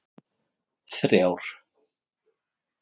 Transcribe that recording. þrjár